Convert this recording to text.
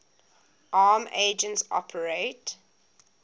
arm agents operate